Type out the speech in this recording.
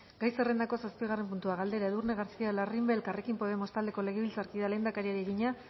gai zerrendako zazpigarren puntua galdera edurne garcía larrimbe elkarrekin podemos taldeko legebiltzarkideak lehendakariari egina